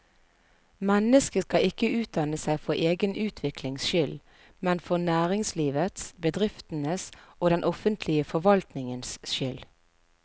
Mennesket skal ikke utdanne seg for egen utviklings skyld, men for næringslivets, bedriftenes og den offentlige forvaltningens skyld.